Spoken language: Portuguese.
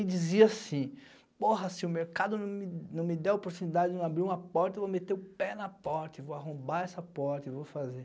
E dizia assim, porra, se o mercado não me não me der a oportunidade de abrir uma porta, eu vou meter o pé na porta e vou arrombar essa porta e vou fazer.